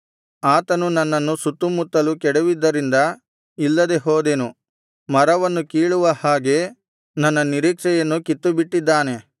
ಆತನು ನನ್ನನ್ನು ಸುತ್ತುಮುತ್ತಲೂ ಕೆಡವಿದ್ದರಿಂದ ಇಲ್ಲದೆ ಹೋದೆನು ಮರವನ್ನು ಕೀಳುವ ಹಾಗೆ ನನ್ನ ನಿರೀಕ್ಷೆಯನ್ನು ಕಿತ್ತುಬಿಟ್ಟಿದ್ದಾನೆ